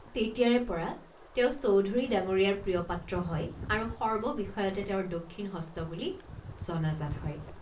তেতিয়াৰেপৰা তেওঁ চৌধুৰী ডাঙৰীয়াৰ প্ৰিয়পাত্ৰ হয় আৰু সৰ্ববিষয়তে তেওঁৰ দক্ষিণ হস্ত বুলি জনাজাত হয়।